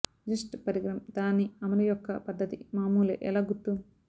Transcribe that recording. just పరికరం దాని అమలు యొక్క పద్ధతి మామూలే ఎలా గుర్తు